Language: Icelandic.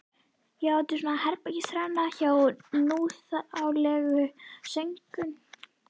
Já, þetta er svona herbergisþerna hjá núþálegu sögnunum.